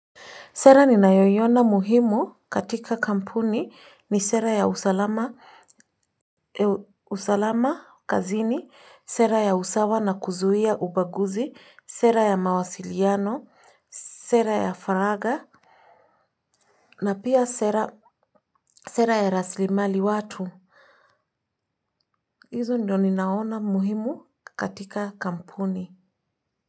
Sera ninayoiona muhimu katika kampuni ni sera ya usalama kazini, sera ya usawa na kuzuia ubaguzi, sera ya mawasiliano, sera ya faraga na pia sera ya rasilimali watu. Hizo ndio ninaona muhimu katika kampuni.